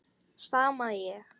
stamaði ég.